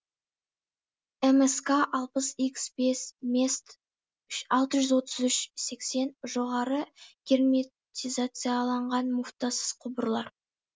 мск алпыс икс бес мест алты жүз отыз үш сексен жоғары герметизацияланған муфтасыз құбырлар